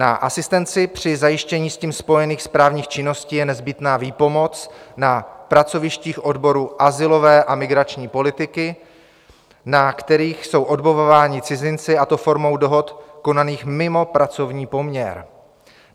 Na asistenci při zajištění s tím spojených správních činností je nezbytná výpomoc na pracovištích odboru azylové a migrační politiky, na kterých jsou odbavováni cizinci, a to formou dohod konaných mimo pracovní poměr.